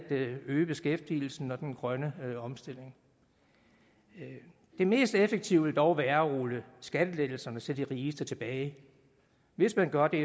øge beskæftigelsen og den grønne omstilling det mest effektive ville dog være at rulle skattelettelserne til de rigeste tilbage hvis man gør det